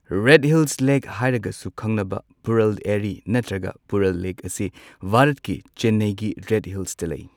Red Hills lake ꯍꯥꯏꯔꯒꯁꯨ ꯈꯪꯅꯕ ꯄꯨꯔꯜ ꯑꯦꯔꯤ ꯅꯠꯇ꯭ꯔꯒ ꯄꯨꯓꯥꯜ ꯂꯦꯛ ꯑꯁꯤ ꯚꯥꯔꯠꯀꯤ ꯆꯦꯟꯅꯥꯏꯒꯤ ꯔꯦꯗ ꯍꯤꯜꯁꯇ ꯂꯩ꯫